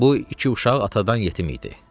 Bu iki uşaq atadan yetim idi.